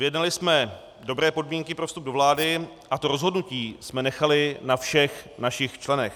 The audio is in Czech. Vyjednali jsme dobré podmínky pro vstup do vlády a to rozhodnutí jsme nechali na všech našich členech.